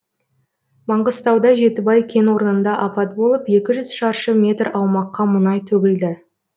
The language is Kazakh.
маңғыстауда жетібай кен орнында апат болып екі жүз шаршы метр аумаққа мұнай төгілді